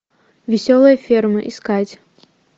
веселая ферма искать